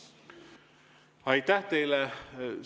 Aitäh teile!